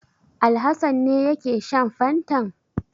Alhassan ne yake shan fantan?